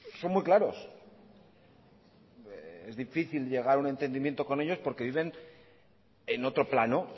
son muy claros es difícil llegar a un entendimiento con ellos porque viven en otro plano